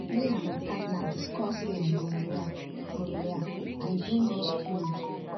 me and my partner discuss um gonorrhea gonorrhea and e bring us close